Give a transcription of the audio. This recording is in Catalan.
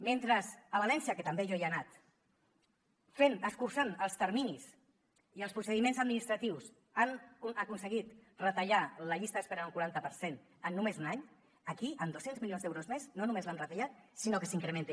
mentre a valència que també jo hi he anat escurçant els terminis i els procediments administratius han aconseguit retallar la llista d’espera en un quaranta per cent en només un any aquí amb dos cents milions d’euros més no només l’hem retallat sinó que s’incrementa